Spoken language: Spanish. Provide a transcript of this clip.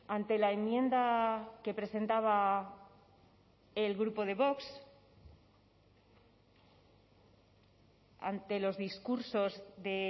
ante la enmienda que presentaba el grupo de vox ante los discursos de